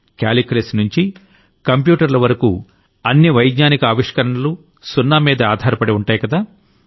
calculus నుంచి కంప్యూటర్ల వరకూ అన్ని వైజ్ఞానికి ఆవిష్కరణలూ సున్నామీదే ఆధారపడి ఉంటాయికదా